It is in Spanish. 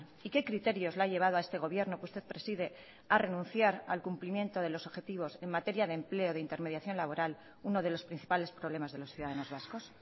y qué criterios la ha llevado a este gobierno que usted preside a renunciar al cumplimiento de los objetivos en materia de empleo de intermediación laboral uno de los principales problemas de los ciudadanos vascos